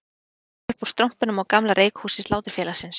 Það rýkur upp úr strompinum á gamla reykhúsi Sláturfélagsins